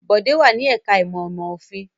Bọ̀dé wà ní ẹ̀ka-ìmọ̀ ìmọ̀-òfin.